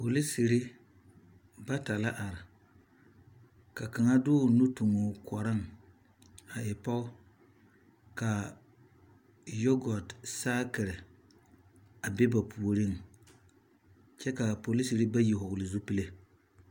Polisiri bata la are ka kaŋa de o nu tuŋ o kɔreŋ a e pɔge ka yɔgɔte saakiri a be ba puoriŋ kyɛ ka a Polisiri bayi hɔɔle zupile.